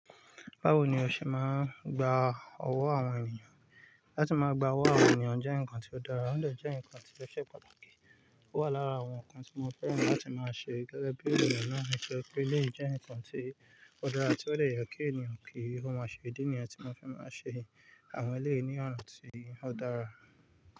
Báwo ni o ṣe máa ń gba ọwọ́ àwọn ènìyàn? Láti máa gba ọwọ́ àwọn ènìyàn jẹ́ nǹkan tó dára, ó lè jẹ́ ǹkan tó ṣe pàtàkì. Ó wà lára àwọn ǹkan tí mo fẹ́ràn láti máa ṣe gẹ́gẹ́ bí ènìyàn náà nítoripé eléyìí jẹ́ ǹkan tí ó dára tí ó dẹ̀ yẹ kí ènìyàn kí ó máa ṣe ìdí nìyẹn tí mo fi máa ṣe àwọn eléyìí ní ọ̀na tí ó dára.